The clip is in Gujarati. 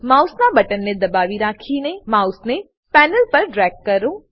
માઉસનાં બટનને દબાવી રાખીને માઉસને પેનલ પર ડ્રેગ કરો